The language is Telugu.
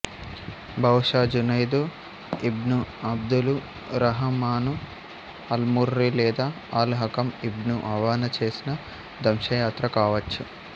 బహుశా జునైదు ఇబ్ను అబ్దులురహమాను అల్ముర్రి లేదా అల్ హకం ఇబ్ను అవానా చేసిన దంశయాత్ర కావచ్చు